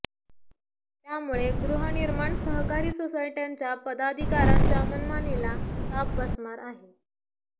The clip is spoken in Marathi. त्यामुळे गृहनिर्माण सहकारी सोसायटय़ांच्या पदाधिकाऱयांच्या मनमानीला चाप बसणार आहे